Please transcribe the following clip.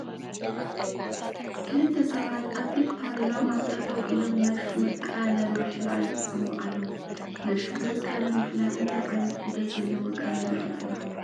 ክልተ ሰባት ኣብ ፊት ፓርላማ ጠጠው ኢሎም ናይ ሹመት ቃለ ማሕላ ይፍፅሙ ኣለዉ፡፡ ናይ ሹመት ቃለ ማሕላ እንታይ ዓይነት ክብደት ዘለዎ ቃለ ማሕላ እዩ?